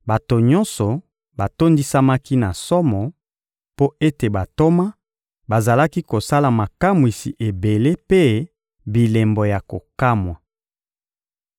Bato nyonso batondisamaki na somo, mpo ete bantoma bazalaki kosala makamwisi ebele mpe bilembo ya kokamwa.